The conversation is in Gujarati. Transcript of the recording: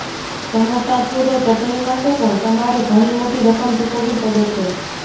સમોસા છોડો ચટણી માટે પણ તમારે ઘણી મોટી રકમ ચૂકવવી પડે છે